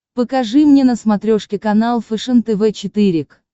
покажи мне на смотрешке канал фэшен тв четыре к